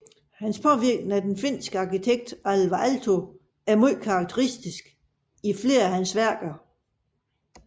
Hans påvirkning af den finske arkitekt Alvar Aalto er ganske karakteristisk i flere af hans værker